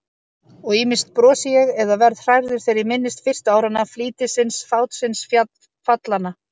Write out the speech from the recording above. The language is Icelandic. Og ýmist brosi ég eða verð hrærður þegar ég minnist fyrstu áranna, flýtisins, fátsins, fallanna.